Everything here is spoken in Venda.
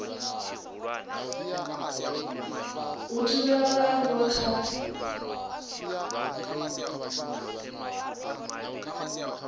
u thivhela vhaaluwa kha u